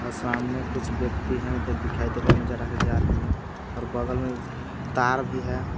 आ सामने कुछ व्यक्ति हैं उधर दिखाई दे रहे हैं नजर आ के जा रहे हैं और बगल में तार भी है।